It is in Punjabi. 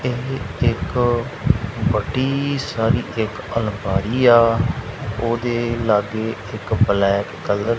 ਏਹ ਇੱਕ ਵੱਡੀ ਸਾਰੀ ਇੱਕ ਅਲਮਾਰੀ ਆ ਓਹਦੇ ਲਾਗੇ ਇੱਕ ਬਲੈਕ ਕਲਰ --